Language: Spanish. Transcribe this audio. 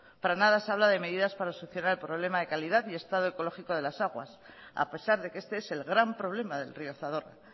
para nada se habla de medidas para solucionar el problema de calidad y estado ecológico de las aguas a pesar de que este es el gran problema del río zadorra